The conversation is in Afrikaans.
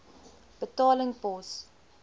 betaling pos